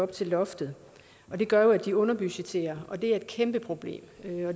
til loftet og det gør jo at de underbudgetterer og det er et kæmpeproblem